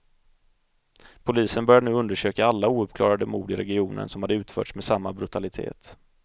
Polisen började nu undersöka alla ouppklarade mord i regionen som hade utförts med samma brutalitet.